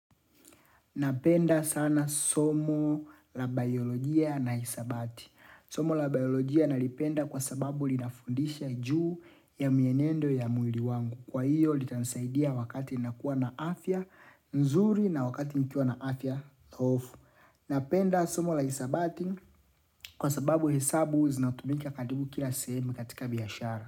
Napenda sana somo la biolojia na hisabati. Somo la biolojia nalipenda kwa sababu linafundisha juu ya mienendo ya mwili wangu. Kwa hiyo, litanisaidia wakati nakuwa na afya nzuri na wakati nikuwa na afya dhoofu. Napenda somo la hisabati kwa sababu hesabu zinatumika karibu kila sehemu katika biaashara.